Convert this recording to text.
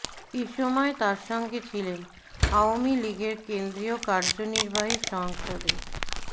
এ সময় তার সঙ্গে ছিলেন আওয়ামী লীগের কেন্দ্রীয় কার্যনির্বাহী সংসদের